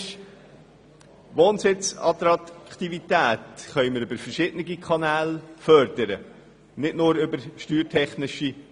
Die Wohnsitzattraktivität können wir über verschiedene Kanäle steigern, nicht nur über die Steuern.